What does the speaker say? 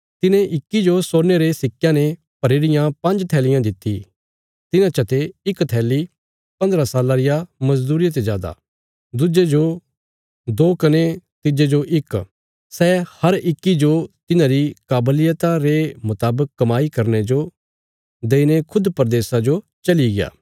तिने इक्की जो सोने रे सिक्कयां ने भरी रियां पांज्ज थैलियां दित्ति तिन्हां चते इक थैली पन्द्रह साल्लां रिया मजदूरिया ते जादा दुज्जे जो दो कने तिज्जे जो इक सै हर इक्की जो तिन्हांरी काबलियता रे मुतावक कमाई करने जो देईने खुद परदेशा जो चलिग्या